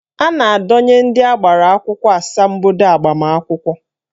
A na-adọnye ndị gbara akwụkwọ asambodo agbamakwụkwọ